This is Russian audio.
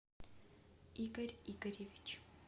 игорь игоревич